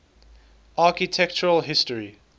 architectural history